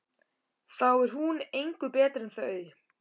Þá er hún engu betri en þau.